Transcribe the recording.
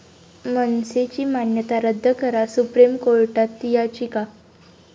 मनसे'ची मान्यता रद्द करा, सुप्रीम कोर्टात याचिका